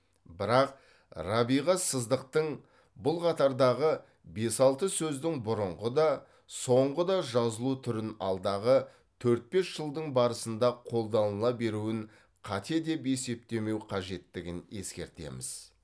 бірақ рабиға сыздықтың бұл қатардағы бес алты сөздің бұрынғы да соңғы да жазылу түрін алдағы төрт бес жылдың барысында қолданыла беруін қате деп есептемеу қажеттігін ескертеміз